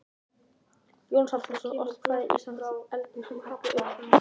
Jónas Hallgrímsson orti kvæðið Ísland undir elegískum hætti sem upprunninn er í Grikklandi.